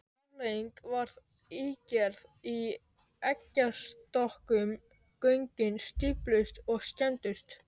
Afleiðingin varð ígerð í eggjastokkum, göngin stífluðust og skemmdust.